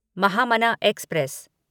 Mahamana express